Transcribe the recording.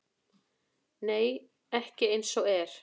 Nei, ekki eins og er.